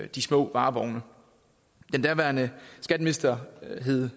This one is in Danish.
de små varevogne den daværende skatteminister hed